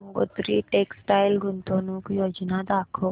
Gangotri textile गुंतवणूक योजना दाखव